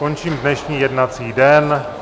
Končím dnešní jednací den.